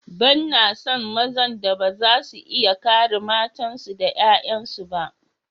Banna son mazan da ba za su iya kare matansu da ’ya’yansu ba.